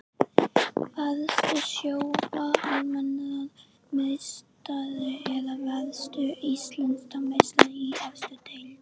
Varstu Sjóvá Almennrar meistari eða varðstu Íslandsmeistari í efstu deild?